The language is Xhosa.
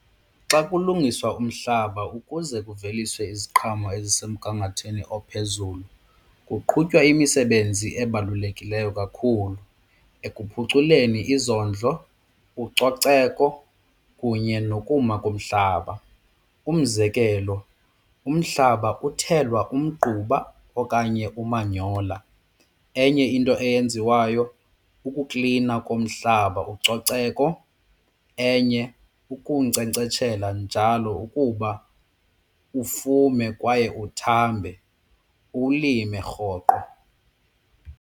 Xa kulungiswa umhlaba ukuze kuveliswe iziqhamo ezisemgangathweni ophezulu kuqhutywa imisebenzi ebalulekileyo kakhulu ekuphuculeni izondlo, ucoceko kunye nokuma komhlaba. Umzekelo umhlaba uthelwa umgquba okanye umanyola. Enye into eyenziwayo kukuklina komhlaba ucoceko enye ukuwunkcenkceshela njalo ukuba ufume kwaye uthambe uwulime rhoqo.